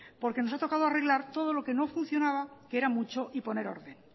porque nos ha tocado arreglar todo lo que no funcionaba que era mucho y poner orden